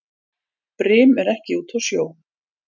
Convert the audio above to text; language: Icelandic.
Brim er ekki úti á sjó.